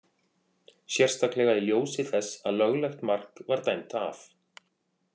Sérstaklega í ljósi þess að löglegt mark var dæmt af.